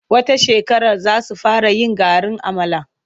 Wata shekarar za su fara yin garin amala.